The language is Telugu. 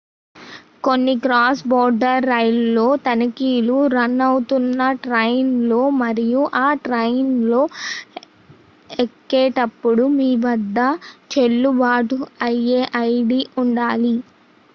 కొన్ని క్రాస్ బోర్డర్ రైళ్లలో తనిఖీలు రన్ అవుతున్న ట్రైన్ లో మరియు ఆ ట్రైన్ లో ఎక్కేటప్పుడు మీ వద్ద చెల్లుబాటు అయ్యే ఐడి ఉండాలి